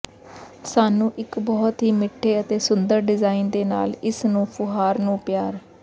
ਸਾਨੂੰ ਇੱਕ ਬਹੁਤ ਹੀ ਮਿੱਠੇ ਅਤੇ ਸੁੰਦਰ ਡਿਜ਼ਾਇਨ ਦੇ ਨਾਲ ਇਸ ਨੂੰ ਫੁਹਾਰ ਨੂੰ ਪਿਆਰ